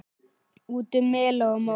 Út um mela og móa!